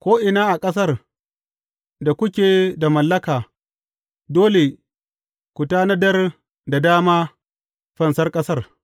Ko’ina a ƙasar da kuke da mallaka, dole ku tanadar da dama fansar ƙasar.